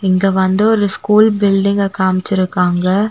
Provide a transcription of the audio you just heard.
இங்க வந்து ஒரு ஸ்கூல் பில்டிங்க காமிச்சிருக்காங்க.